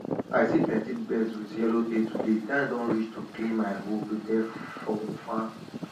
i see plenty birds with yellow tail today time don reach to clean my hoe prepare fir farm